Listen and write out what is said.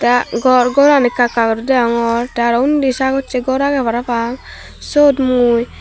ah gor goran ekka ekka guri degongor te aro undi sagocche gor agey parapang sot mui.